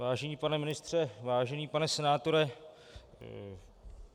Vážený pane ministře, vážený pane senátore.